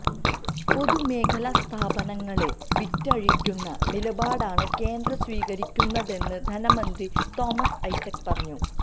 പൊതുമേഖല സ്ഥാപനങ്ങളെ വിറ്റഴിക്കുന്ന നിലപാടാണ് കേന്ദ്രം സ്വീകരിക്കുന്നതെന്ന് ധനമന്ത്രി തോമസ് ഐസക് പറഞ്ഞു